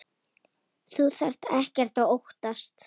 Þú þarft ekkert að óttast.